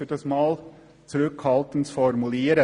um es einmal zurückhaltend zu formulieren.